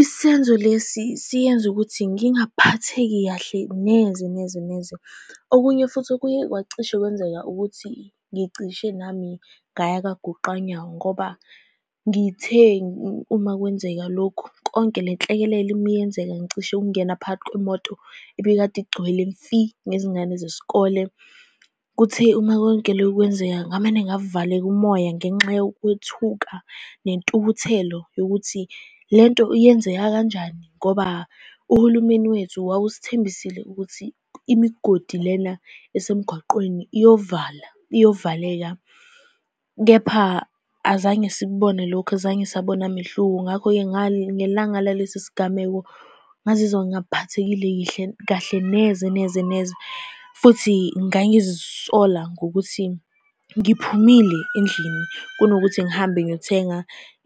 Isenzo lesi siyenze ukuthi ngingaphatheki kahle neze neze neze. Okunye futhi okuye kwacishe kwenzeka ukuthi ngicishe nami ngaya kagoqanyawo, ngoba ngithe uma kwenzeka lokhu, yonke le nhlekelele uma yenzeka, ngicishe ngingena phakathi kwemoto ebikade igcwele mfi nezingane zesikole. Kuthe uma konke lokho kwenzeka ngamane ngavaleka umoya, ngenxa yokwethuka nentukuthelo yokuthi lento iyenzeka kanjani, ngoba uhulumeni wethu wawusithembisile ukuthi imigodi lena esemgwaqeni iyovalwa, iyovaleka. Kepha azange sikubone lokho, azange sabona mehluko. Ngakho-ke, ngelanga nalesi sigameko ngazizwa ngingaphathekile kahle neze neze neze, futhi ngangizisola ngokuthi ngiphumile endlini, kunokuthi ngihambe ngiyothenga